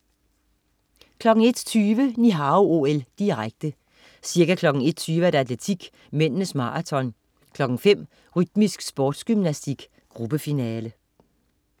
01.20 Ni Hao OL, direkte. Ca. kl. 1.20: Atletik, mændenes marathon. 5.00: Rytmisk sportsgymnastik, gruppefinale